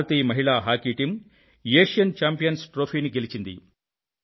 భారతీయ మహిళా hockey team Asian champions trophy గెలిచింది